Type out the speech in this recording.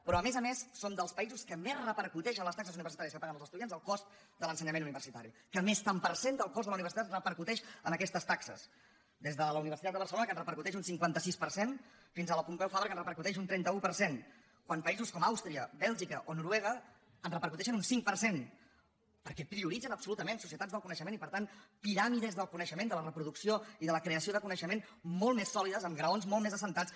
però a més a més som dels països que més repercu·teix en les taxes universitàries que paguen els estu·diants el cost de l’ensenyament universitari que més tant per cent del cost de la universitat repercuteix en aquestes taxes des de la universitat de barcelona que en repercuteix un cinquanta sis per cent fins a la pompeu fabra que en repercuteix un trenta un per cent quan països com àustria bèlgica o noruega en repercuteixen un cinc per cent perquè prioritzen absolutament societats del co·neixement i per tant piràmides del coneixement de la reproducció i de la creació de coneixement molt més sòlides amb graons molt més assentats